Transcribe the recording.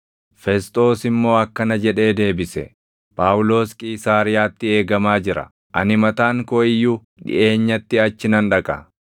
Fesxoos immoo akkana jedhee deebise; “Phaawulos Qiisaariyaatti eegamaa jira; ani mataan koo iyyuu dhiʼeenyatti achi nan dhaqa.